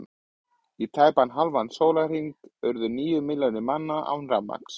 Í tæpan hálfan sólarhring urðu níu milljónir manna án rafmagns.